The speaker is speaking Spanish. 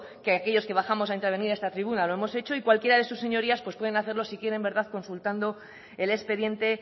que aquellos que bajamos a intervenir a esta tribuna lo hemos hecho y cualquiera de sus señorías pues pueden hacerlo si quieren verdad consultando el expediente